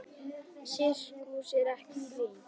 Sirkus er ekkert grín.